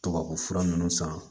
Tɔgɔ o fura ninnu san